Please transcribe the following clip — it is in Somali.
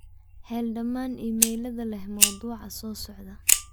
hel dhammaan iimaylada leh mawduucan soo socda